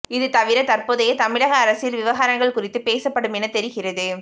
இது தவிர தற்போதைய தமிழக அரசியல் விவகாரங்கள் குறித்தும் பேசப்படும் என தெரிகிறது